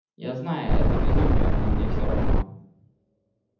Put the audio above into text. я знаю что это безумие но мне все равно